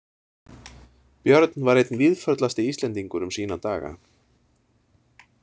Björn var einn víðförlasti Íslendingur um sína daga.